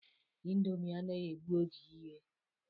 Ịndomi anaghị egbu oge iye